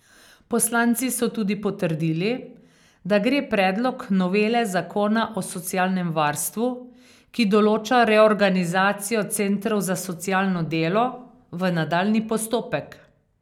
Poslanci so tudi potrdili, da gre predlog novele zakona o socialnem varstvu, ki določa reorganizacijo centrov za socialno delo, v nadaljnji postopek.